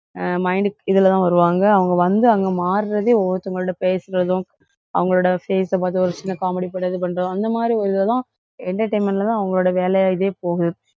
அஹ் mind இதுலதான் வருவாங்க. அவங்க வந்து அங்க மாறுறதே ஒவ்வொருத்தங்களோட பேசுறதும், அவங்களோட face அ பார்த்து ஒரு சின்ன comedy பண்றதும் அந்த மாதிரி ஒரு இதெல்லாம் entertainment ல தான் அவங்களோட வேலையா இதே போகுது.